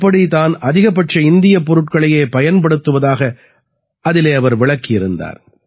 எப்படி தான் அதிகபட்ச இந்தியப் பொருட்களையே பயன்படுத்துவதாக அவர் விளக்கியிருந்தார்